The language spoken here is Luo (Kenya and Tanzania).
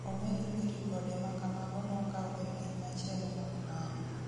Omedo ni ripode makamago nokau e piny machielo mok mano